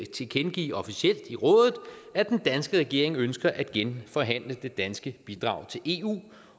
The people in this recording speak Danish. tilkendegive officielt i rådet at den danske regering ønsker at genforhandle det danske bidrag til eu